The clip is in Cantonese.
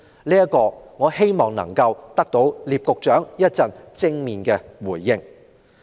就此，我希望稍後得到聶局長的正面回應。